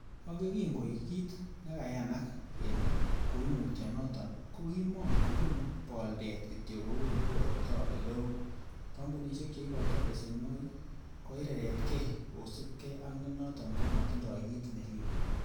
Ak yekin koik kit nekanayak kele koimutyo noton ko kimon kobune boldet kityok kou ele bwotito eleo, kompunisiek che ikoitoi besenwogik koireretge kosiibge ak nenoton komotindoi kit neribe.